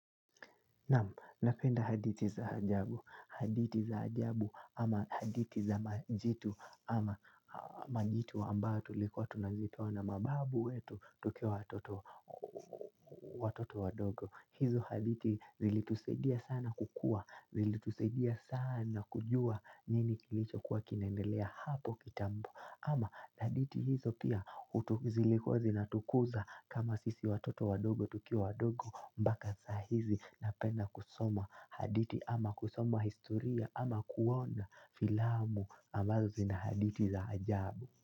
Naam, napenda hadithi za ajabu. Hadithi za ajabu ama hadithi za majitu ama majitu ambayo tulikuwa tunazitoa na mababu wetu tukiwa watoto wadogo. Hizo hadithi zilitusaidia sana kukua. Zilitusaidia sana kujua nini kilichokuwa kinaendelea hapo kitambo. Ama hadithi hizo pia utu zilikuwa zinatukuza kama sisi watoto wadogo tukiwa wadogo mpaka za hizi napenda kusoma hadithi ama kusoma historia ama kuona filamu ambazo zinahadithi za ajabu.